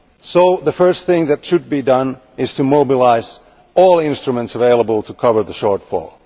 So the first thing that should be done is to mobilise all instruments available to cover the shortfall.